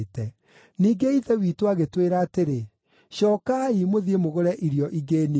“Ningĩ ithe witũ agĩtwĩra atĩrĩ, ‘Cookai, mũthiĩ mũgũre irio ingĩ nini.’